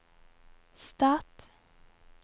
stat